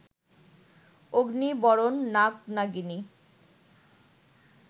অগ্নি-বরণ নাগ-নাগিনী